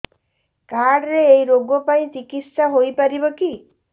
card ରେ ଏଇ ରୋଗ ପାଇଁ ଚିକିତ୍ସା ହେଇପାରିବ କି